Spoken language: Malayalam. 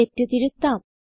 തെറ്റ് തിരുത്താം